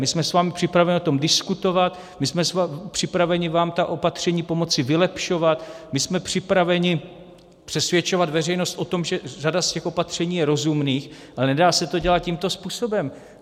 My jsme s vámi připraveni o tom diskutovat, my jsme připraveni vám ta opatření pomoci vylepšovat, my jsme připraveni přesvědčovat veřejnost o tom, že řada z těch opatření je rozumných, ale nedá se to dělat tímto způsobem.